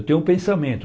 Eu tenho um pensamento.